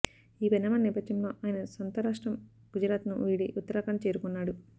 ఈ పరిణామాల నేపథ్యంలో ఆయన సొంతం రాష్టం గుజరాత్ను వీడి ఉత్తరాఖండ్ చేరుకున్నాడు